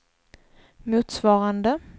motsvarande